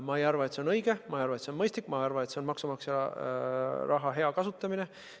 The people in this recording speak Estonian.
Ma ei arva, et see on õige, ma ei arva, et see on mõistlik, ja ma ei arva ka, et see on maksumaksja raha hea kasutamine.